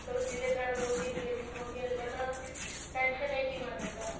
ਜਿਹਦੇ ਘਰ ਦੋ ਤਿੰਨ ਬੇਟੀਆਂ ਹੋ ਗਈਆਂ ਅੱਗਲਾ ਤਾਂ tension ਲੈਕੇ ਹੀ ਮਰ ਜਾਂਦਾ ਹੈ ਹੁਣ